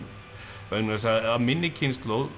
vegna þess að af minni kynslóð